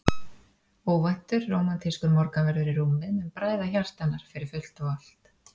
Óvæntur, rómantískur morgunverður í rúmið mun bræða hjarta hennar fyrir fullt og allt.